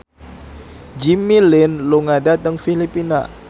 Jimmy Lin lunga dhateng Filipina